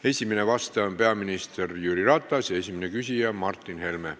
Esimene vastaja on peaminister Jüri Ratas ja esimene küsija Martin Helme.